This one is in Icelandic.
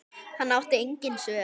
Hann átti engin svör.